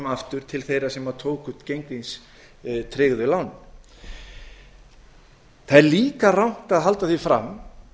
aftur til þeirra sem tóku gengistryggðu lánin það er líka rangt að halda því fram